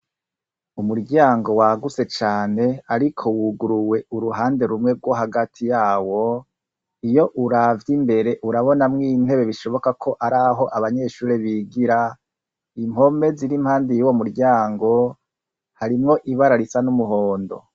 umuryango wagutse cyane ariko wuguruwe uruhande rumwe rwo hagati yawo iyo uravya imbere urabonamwo intebe bishoboka ko ari aho abanyeshuri bigira impome ziri impande y'uwo muryango harimwo ibara risa n'umuhondo